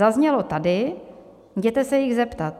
Zaznělo tady: Jděte se jich zeptat.